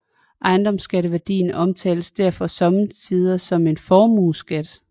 Ejendomsværdiskatten omtales derfor sommetider som en formueskat